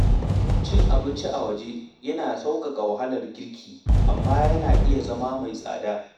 Cin abinci a waje yana sauƙaƙa wahalar girki, amma yana iya zama mai tsada.